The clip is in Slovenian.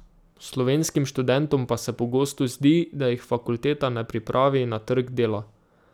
Slovenskim študentom pa se pogosto zdi, da jih fakulteta ne pripravi na trg dela.